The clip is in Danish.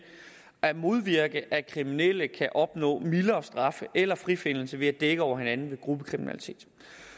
at modvirke at kriminelle kan opnå mildere straf eller frifindelse ved at dække over hinanden ved gruppekriminalitet